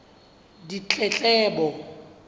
ditletlebo